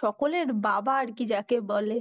সকলের বাবা আর কি যাকে বলে।